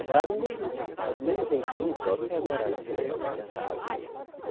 A casa ainda existe, tá do mesmo jeitinho, só que agora tudo pavimentado.